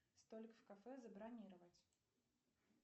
столик в кафе забронировать